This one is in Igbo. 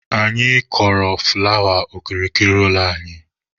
Anyị kọrọ fụlawa okirikiri ụlọ anyị.